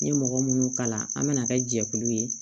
N ye mɔgɔ munnu kalan an mana kɛ jɛkulu ye